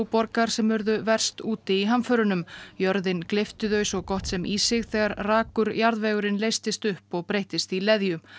borgar sem urðu verst úti í hamförunum jörðin gleypti þau svo gott sem í sig þegar rakur jarðvegurinn leystist upp og breyttist í leðju